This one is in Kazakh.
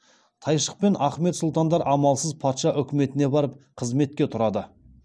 тайшық пен ахмет сұлтандар амалсыз патша үкіметіне барып қызметке тұрады